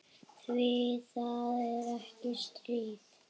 Því það er ekkert stríð.